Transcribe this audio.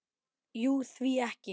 Jú, því ekki?